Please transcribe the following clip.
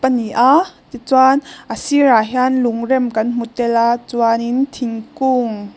a ni a tichuan a sirah hian lungrem kan hmu tel a chuanin thingkung--